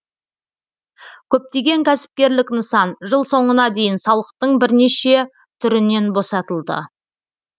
көптеген кәсіпкерлік нысан жыл соңына дейін салықтың бірнеше түрінен босатылды